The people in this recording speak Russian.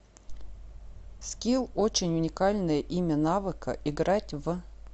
скилл очень уникальное имя навыка играть в